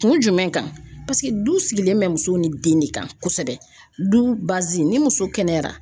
Kun jumɛn kan paseke du sigilen bɛ muso ni den ne kan kosɛbɛ du bazi ni muso kɛnɛyara